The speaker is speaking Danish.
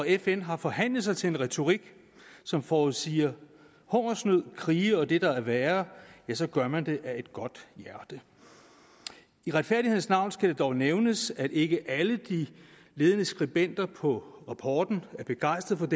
fn har forhandlet sig til en retorik som forudsiger hungersnød krige og det der er værre ja så gør man det af et godt hjerte i retfærdighedens navn skal det dog nævnes at ikke alle de ledende skribenter på rapporten er begejstrede